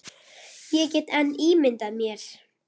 Ég get enn ímyndað mér!